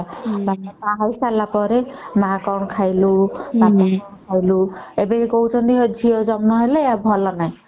ବାହା ହେଇ ସରିଲା ପରେ ମା କଣ ଖାଇଲୁ ଏବେ କହୁଛନ୍ତି କଣ ନା ଝିଅ ଜନ୍ମ ହେଲା ଭଲ ନାହିଁ ହୁଁ